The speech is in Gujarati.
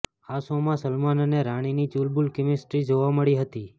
આ શોમાં સલમાન અને રાનીની ચુલબુલ કેમિસ્ટ્રી જોવા મળી હતી